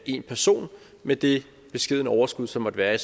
en person med det beskedne overskud som måtte være i